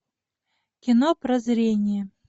кино прозрение